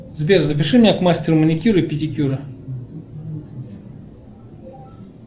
сбер запиши меня к мастеру маникюра и педикюра